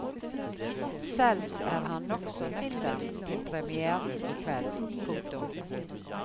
Selv er han nokså nøktern til premièren i kveld. punktum